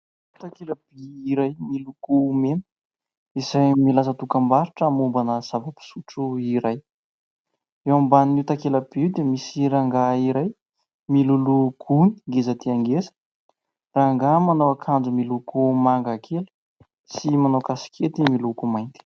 Takelaby iray miloko mena izay milaza dokambarotra mombana zava-pisotro iray. Eo ambanin'io takelaby io dia misy rangahy iray miloloha gony ngeza dia ngeza, rangahy manao akanjo miloko manga kely sy manao kasikety miloko mainty.